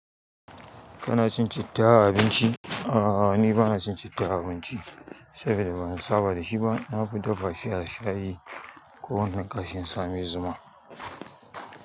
Kana cin citta a abinci? A'a, ni bana cin citta a abinci saboda ban saba da shi ba. Na fi dafa shi a shayi ko wannan ƙashi in sami zuma.